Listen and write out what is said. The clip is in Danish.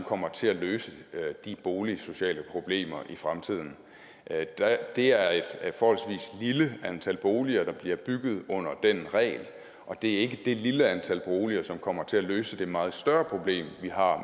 kommer til at løse de boligsociale problemer i fremtiden det er et forholdsvis lille antal boliger der bliver bygget under den regel det er ikke det lille antal boliger som kommer til at løse det meget større problem vi har